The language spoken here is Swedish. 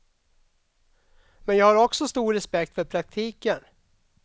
Men jag har också stor respekt för praktiken.